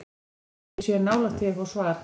Ég held að við séum nálægt því að fá svar.